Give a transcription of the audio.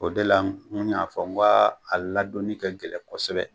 O de la kun y'a fɔ, n ko a ladonni ka gɛlɛn kosɛbɛ.